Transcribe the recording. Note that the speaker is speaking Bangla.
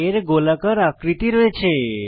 এর গোলাকার আকৃতি রয়েছে